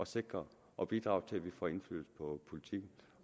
sikre og bidrage til at vi får indflydelse på politikken